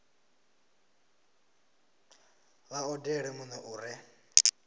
vha odele muno u re